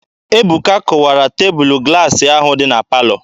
Ebuka kụwara tebụlụ glaasị ahụ dị na palọ.